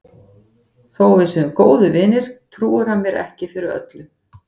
Þó að við séum góðir vinir trúir hann mér ekki fyrir öllu.